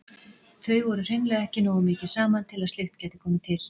Þau voru hreinlega ekki nógu mikið saman til að slíkt gæti komið til.